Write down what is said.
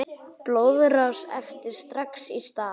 Blóðrás heftir strax í stað.